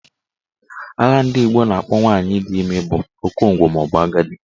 Aha ndị Igbo na-akpọ nwaanyị dị ime bụ okongwu maọbụ agadi